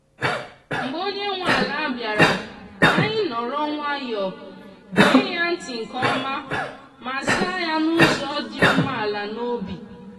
mgbe onye nwe ala bịara ka anyị nọrọ nwayọọ gee ya ntị nke ọma ma zaa ya n’ụzọ dị umeala n’obi.